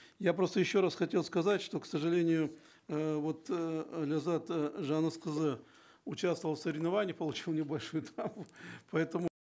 я просто еще раз хотел сказать что к сожалению э вот э ләззат э жаңылысқызы участвовала в соревнованиях получила небольшую травму поэтому